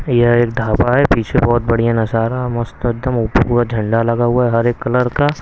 यहाँ एक ढाबा है पीछे बहुत बढ़िया नज़ारा मस्त एकदम ऊपर पूरा झंडा लगा हुआ है हरे कलर का।